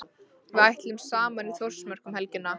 Við ætlum saman í Þórsmörk um helgina.